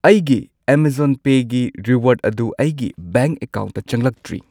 ꯑꯩꯒꯤ ꯑꯦꯃꯥꯖꯣꯟ ꯄꯦꯒꯤ ꯔꯤꯋꯥꯔꯗ ꯑꯗꯨ ꯑꯩꯒꯤ ꯕꯦꯡꯛ ꯑꯀꯥꯎꯟꯠꯇ ꯆꯪꯂꯛꯇ꯭ꯔꯤ꯫